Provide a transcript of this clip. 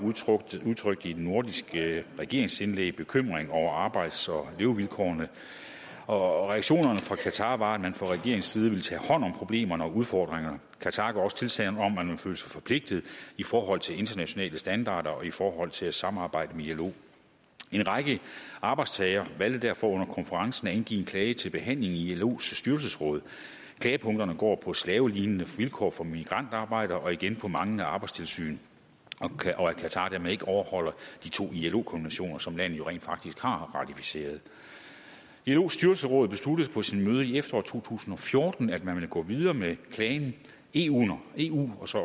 udtrykte i et nordisk regeringsindlæg bekymring over arbejds og levevilkårene og reaktionerne fra qatar var at man fra regeringens side ville tage hånd om problemerne og udfordringerne qatar gav også tilsagn om at man følte sig forpligtet i forhold til internationale standarder og i forhold til at samarbejde med ilo en række arbejdstagere valgte derfor under konferencen at indgive en klage til behandling i ilos styrelsesråd klagepunkterne går på slavelignende vilkår for migrantarbejdere og igen på manglende arbejdstilsyn og at qatar dermed ikke overholder de to ilo konventioner som landet jo rent faktisk har ratificeret ilos styrelsesråd besluttede på sit møde i efteråret to tusind og fjorten at man ville gå videre med planen eu og eu og så